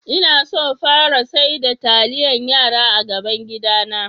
Na so fara sar da talliyan yara a gaban gida na.